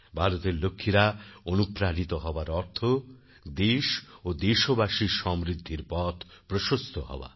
ভারতের লক্ষ্মীরা অনুপ্রাণিত হওয়ার অর্থ দেশ ও দেশবাসীর সমৃদ্ধির পথ প্রশস্ত হওয়া